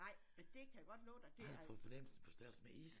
Nej men det kan jeg godt love dig det er